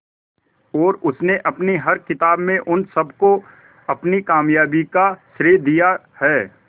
और उसने अपनी हर किताब में उन सबको अपनी कामयाबी का श्रेय दिया है